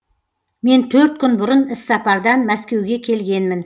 мен төрт күн бұрын іссапардан мәскеуге келгенмін